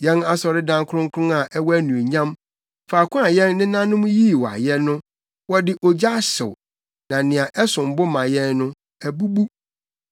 Yɛn asɔredan kronkron a ɛwɔ anuonyam, faako a yɛn nenanom yii wo ayɛ no, wɔde ogya ahyew, na nea ɛsom bo ma yɛn no, abubu.